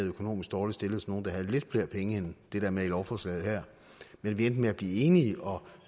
økonomisk dårligt stillede som nogle der havde lidt flere penge end det der er med i lovforslaget her men vi endte med at blive enige og